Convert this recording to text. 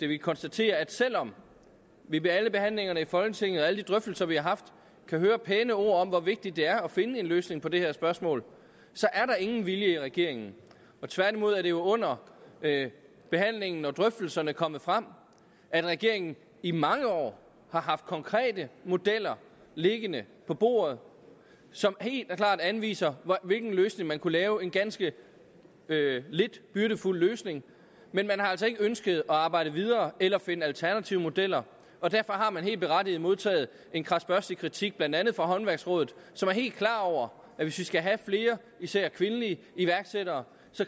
vi konstaterer at selv om vi ved alle behandlingerne i folketinget og alle de drøftelser vi har haft kan høre pæne ord om hvor vigtigt det er at finde en løsning på det her spørgsmål så er der ingen vilje i regeringen tværtimod er det under behandlingen og drøftelserne kommet frem at regeringen i mange år har haft konkrete modeller liggende på bordet som helt og klart anviser hvilken løsning man kunne lave en ganske lidt byrdefuld løsning men man har altså ikke ønsket at arbejde videre eller finde alternative modeller og derfor har man helt berettiget modtaget en krasbørstig kritik blandt andet fra håndværksrådet som er helt klar over at hvis vi skal have flere især kvindelige iværksættere